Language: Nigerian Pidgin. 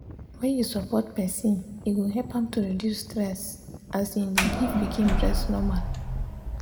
when you support person e go help am to reduce stess as im dey give pikin breast normal.